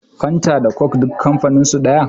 fenta da coke duk kamfaninsu daya